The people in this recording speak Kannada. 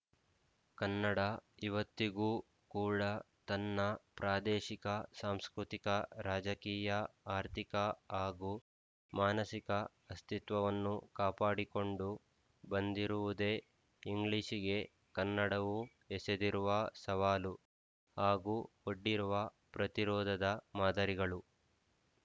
ಕನ್ನಡ ಇವತ್ತಿಗೂ ಕೂಡ ತನ್ನ ಪ್ರಾದೇಶಿಕ ಸಾಂಸ್ಕೃತಿಕ ರಾಜಕೀಯ ಆರ್ಥಿಕ ಹಾಗೂ ಮಾನಸಿಕ ಅಸ್ತಿತ್ವವನ್ನು ಕಾಪಾಡಿಕೊಂಡು ಬಂದಿರುವುದೇ ಇಂಗ್ಲಿಶಿಗೆ ಕನ್ನಡವು ಎಸೆದಿರುವ ಸವಾಲು ಹಾಗೂ ಒಡ್ಡಿರುವ ಪ್ರತಿರೋಧದ ಮಾದರಿಗಳು